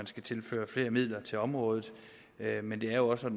skal tilføres flere midler til området men det er jo også